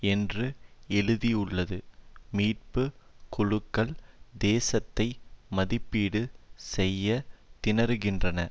என்று எழுதியுள்ளது மீட்பு குழுக்கள் சேதத்தை மதிப்பீடு செய்ய திணறுகின்றன